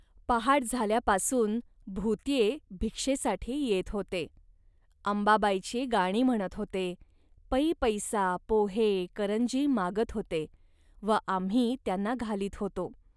पहाट झाल्यापासून भुत्ये भिक्षेसाठी येत होते. अंबाबाईची गाणी म्हणत होते, पैपैसा, पोहे, करंजी मागत होते व आम्ही त्यांना घालीत होतो